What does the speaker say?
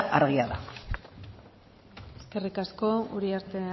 argia da eskerrik asko uriarte